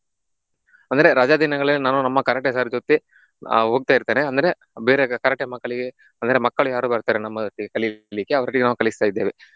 ಅಂದ್ರೆ ರಜಾ ದಿನಗಳಲ್ಲಿ ನಾನು ನಮ್ಮ Karate sir ಜೊತೆ ಆಹ್ ಹೋಗ್ತಾ ಇರ್ತೇನೆ. ಅಂದ್ರೆ ಬೇರೆ Karate ಮಕ್ಕಳಿಗೆ ಅಂದ್ರೆ ಮಕ್ಕಳು ಯಾರು ಬರ್ತಾರೆ ನಮ್ಮ ಒಟ್ಟಿಗೆ ಕಲಿಲಿಕ್ಕೆ ಅವರಿಗೆ ನಾವು ಕಲಿಸ್ತಾ ಇದ್ದೇವೆ.